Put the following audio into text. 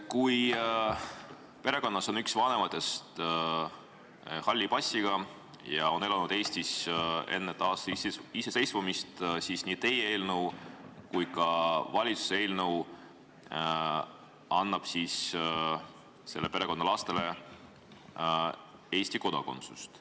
Kui perekonnas on üks vanematest halli passiga ja ta on elanud Eestis enne taasiseseisvumist, siis nii teie eelnõu kui ka valitsuse eelnõu annab selle perekonna lastele Eesti kodakondsuse.